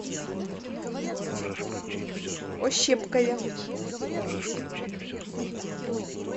ощепкове